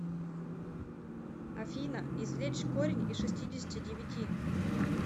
афина извлечь корень из шестидесяти девяти